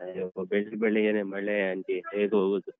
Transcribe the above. ಅಯ್ಯೋ ಬೆಳ್‌ ಬೆಳಿಗ್ಗೆನೆ ಮಳೆ aunty ಹೇಗ್ಹೋಗುದು.